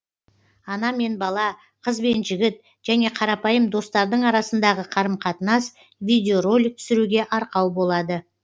ана мен бала қыз бен жігіт және қарапайым достардың арасындағы қарым қатынас видео ролик түсіруге арқау болады